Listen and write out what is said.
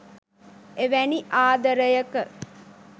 එවැනි ආදරයක